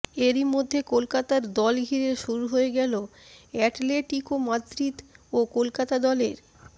এরই মধ্যে কলকাতার দল ঘিরে শুরু হয়ে গেল অ্যাটলেটিকো মাদ্রিদ ও কলকাতা দলের